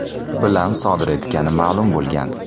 bilan sodir etgani ma’lum bo‘lgan.